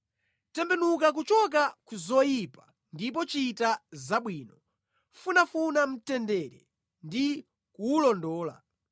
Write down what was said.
Tembenuka kuchoka ku zoyipa ndipo chita zabwino; funafuna mtendere ndi kuwulondola.